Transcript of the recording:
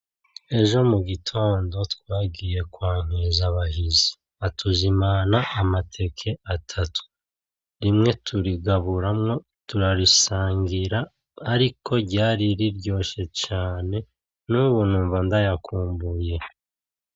Ejo mu gitondo twagiye kunkiza Bahizi, atuzimana amateke atatu, rimwe turigaburamwo turarisangira ariko ryari riryoshe cane nubu numva ndayakumbuye.